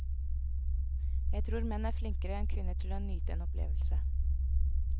Jeg tror menn er flinkere enn kvinner til å nyte en opplevelse.